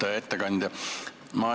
Hea ettekandja!